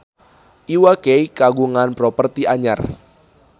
Iwa K kagungan properti anyar